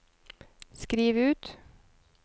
skriv ut